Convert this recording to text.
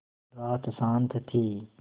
रात शान्त थी